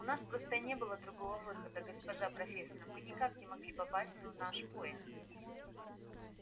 у нас просто не было другого выхода госпожа профессор мы никак не могли попасть на наш поезд